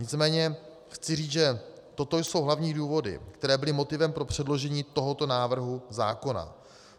Nicméně chci říct, že toto jsou hlavní důvody, které byly motivem pro předložení tohoto návrhu zákona.